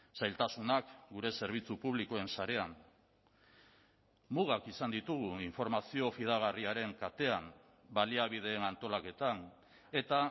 zailtasunak gure zerbitzu publikoen sarean mugak izan ditugu informazio fidagarriaren katean baliabideen antolaketan eta